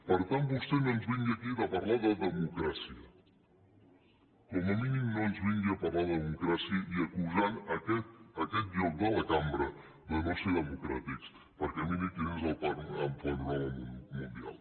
per tant vostè no ens vingui aquí a parlar de democràcia com a mínim no ens vingui a parlar de democràcia i acusant aquest lloc de la cambra de no ser democràtics perquè miri quin és el panorama mundial